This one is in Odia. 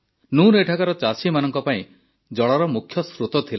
ନୁନ୍ ଏଠାକାର ଚାଷୀମାନଙ୍କ ପାଇଁ ଜଳର ମୁଖ୍ୟସ୍ରୋତ ଥିଲା